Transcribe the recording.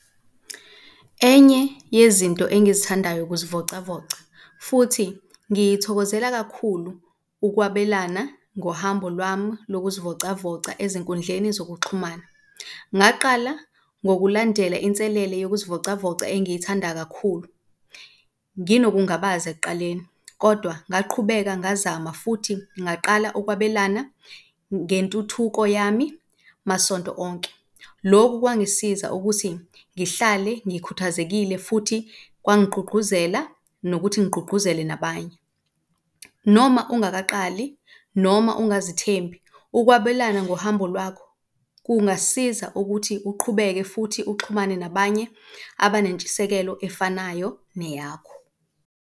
Enye yezinto engizithandayo ukuzivocavoca futhi ngiyithokozela kakhulu ukwabelana ngohambo lwami lokuzivocavoca ezinkundleni zokuxhumana. Ngaqala ngokulandela inselele yokuzivocavoca engiyithanda kakhulu nginokungabaza ekuqaleni kodwa ngaqhubeka ngazama, futhi ngaqala ukwabelana ngentuthuko yami masonto onke. Loku kwangisiza ukuthi ngihlale ngikhuthazekile, futhi kwangigqugquzela nokuthi ngigqugquzele nabanye. Noma ungakaqali noma ungazithembi, ukwabelana ngohambo lwakho kungasiza ukuthi uqhubeke futhi uxhumane nabanye abanentshisekelo efanayo neyakho.